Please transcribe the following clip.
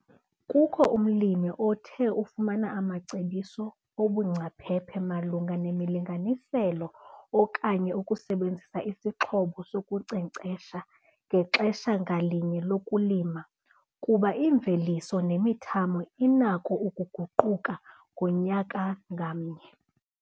Kukho umlimi othe ufumana amacebiso obungcaphephe malunga nemilinganiselo okanye ukusebenzisa isixhobo sokunkcenkcesha ngexesha ngalinye lokulima kuba iimveliso nemithamo inako ukuguquka ngonyaka ngamnye.